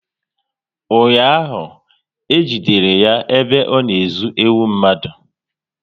Ụnyaahụ, e jidere ya ebe ọ na ezu ewu mmadụ